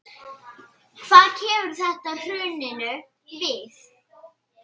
Hvað kemur þetta hruninu við?